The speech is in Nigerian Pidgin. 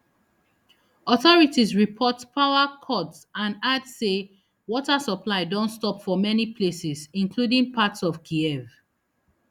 authorities report power cuts and add say water supply don stop for many places including parts of kyiv